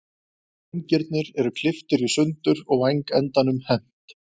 Vængirnir eru klipptir í sundur og vængendanum hent.